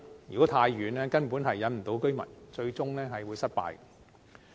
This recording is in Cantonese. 如果太偏遠，根本無法吸引居民，最終都會失敗。